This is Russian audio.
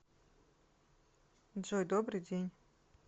джой добрый день